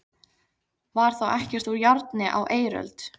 Var þá ekkert úr járni á eiröld?